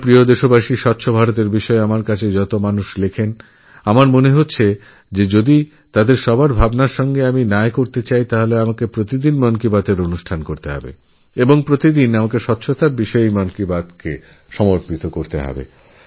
আমার প্রিয় দেশবাসী স্বচ্ছ ভারতবিষয়ে আমায় যত মানুষ লেখেন তাঁদের প্রতি যদি সুবিচার করতে হয় তবে আমায়প্রত্যেকদিন মন কি বাত অনুষ্ঠান করতে হবে এবং প্রত্যেকটা মন কি বাতএইস্বচ্ছতা বিষয়ে চর্চা করতে হবে